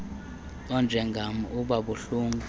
onjengam uba buhlungu